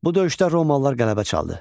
Bu döyüşdə romalılar qələbə çaldı.